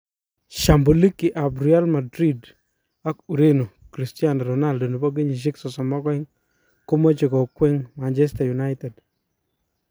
shambuliki ap real Madrid ak ureno Cristiano Ronaldo,32 komache kokweng Manchester United